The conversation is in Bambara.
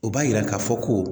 O b'a yira k'a fɔ ko